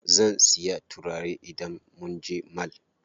Zan siya turare idan munje mall.